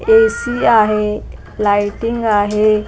AC आहे lighting आहे .